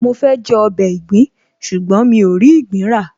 Mo fẹ́ jẹ ọbẹ̀ ìgbín ṣùgbọ́n mi ò rí ìgbín rà